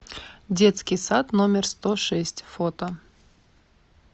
детский сад номер сто шесть фото